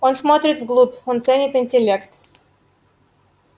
он смотрит вглубь он ценит интеллект